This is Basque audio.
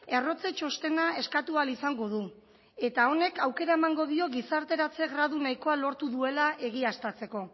errotze txostena eskatu ahal izango du eta honek aukera emango dio gizarteratze gradu nahikoa lortu duela egiaztatzeko